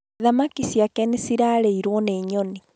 Thamaki ciake nĩ cirarĩirwo nĩ nyoni